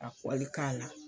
Ka kɔli k'a la.